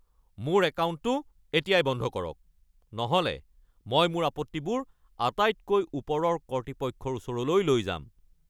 মোৰ একাউণ্টটো এতিয়াই বন্ধ কৰক, নহ'লে মই মোৰ আপত্তিবোৰ আটাইতকৈ ওপৰৰ কৰ্তৃপক্ষৰ ওচৰলৈ লৈ যাম।